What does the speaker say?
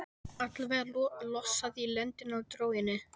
Allavega lossað í lendina á dróginni.